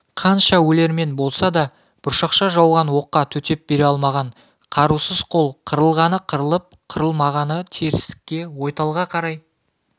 қанша өлермен болса да бұршақша жауған оққа төтеп бере алмаған қарусыз қол қырылғаны қырылып қырылмағаны терістікке ойталға қарай